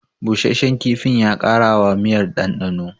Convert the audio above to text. Busasshen kifin ya ƙara wa miyar ɗanɗano